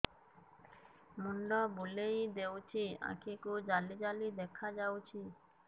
ମୁଣ୍ଡ ବୁଲେଇ ଦେଉଛି ଆଖି କୁ ଜାଲି ଜାଲି ଦେଖା ଯାଉଛି